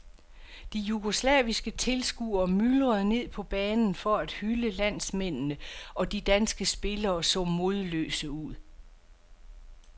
De jugoslaviske tilskuere myldrede ned på banen for at hylde landsmændene og de danske spillere så modløse ud.